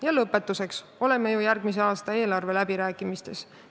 Ja lõpetuseks, oleme ju järgmise aasta eelarve läbirääkimiste keskel.